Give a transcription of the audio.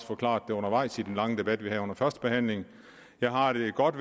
forklaret det undervejs i den lange debat vi havde under førstebehandlingen jeg har det godt